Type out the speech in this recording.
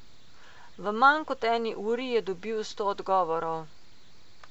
V manj kot eni uri je dobil sto odgovorov.